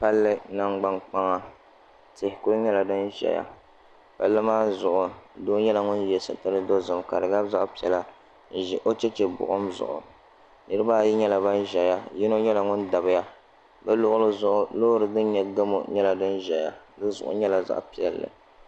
Palli nangbani kpaŋa tihi ku nyɛla din ʒɛya palli maa zuɣu doo nyɛla ŋun yɛ sitiri dozim ka ka di gabi zaɣ piɛla n ʒi o chɛchɛ buɣum zuɣu niraba ayi nyɛla ban ʒɛya yino nyɛla ŋun dabiya bi luɣuli zuɣu loori din nyɛ gamo nyɛla din ʒɛya o zuɣu nyɛla zaɣ piɛlli